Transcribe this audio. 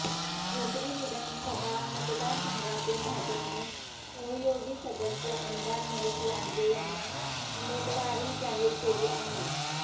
भोसरी विधानसभा मतदारसंघातून भाजपने सहयोगी सदस्य आमदार महेश लांडगे यांना उमेदवारी जाहीर केली आहे